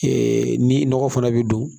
ni nɔgɔ fana bɛ don